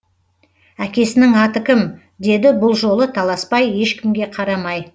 әкесінің аты кім деді бұл жолы таласбай ешкімге қарамай